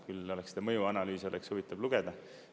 Küll seda mõjuanalüüsi oleks huvitav lugeda.